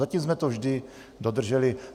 Zatím jsme to vždy dodrželi.